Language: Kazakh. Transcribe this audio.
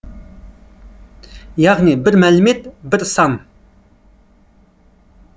яғни бір мәлімет бір сан